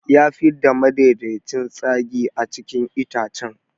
Ya fidda madaidaicin tsagi a cikin itacen.